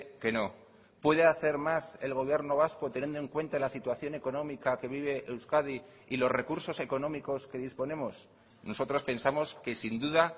que no puede hacer más el gobierno vasco teniendo en cuenta la situación económica que vive euskadi y los recursos económicos que disponemos nosotros pensamos que sin duda